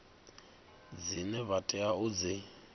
dzine vha tea u dzi